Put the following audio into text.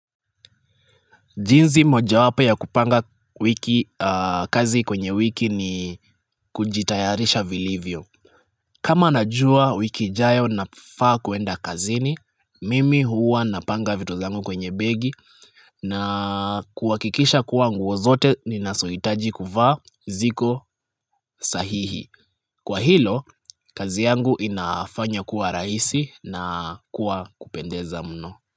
Jinzi moja wapo ya kupanga wiki kazi kwenye wiki ni kujitayarisha vilivyo. Kama najua wiki jayo na faa kuenda kazini, mimi huwa na panga vitu zangu kwenye begi na kuwakikisha kuwa nguozote ni nasoitaji kuva ziko sahihi. Kwa hilo, kazi yangu inafanya kuwa raisi na kuwa kupendeza mno.